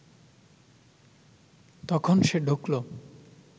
তখন সে ঢুকলো